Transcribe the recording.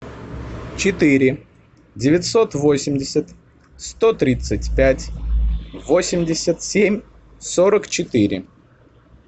четыре девятьсот восемьдесят сто тридцать пять восемьдесят семь сорок четыре